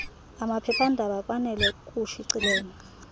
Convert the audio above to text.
amaphephandaba kwanele ukushicilela